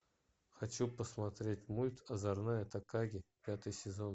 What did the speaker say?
хочу посмотреть мульт озорная такаги пятый сезон